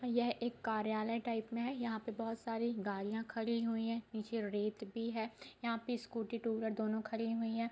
यह एक कार्यालय टाइप में है | यहाँ पे बहुत सारे गाड़ियां खड़ी हुइ हैं | निचे भी है | यहाँ पर स्कूटी टू व्हीलर दोनों खड़ी हुई हैं ।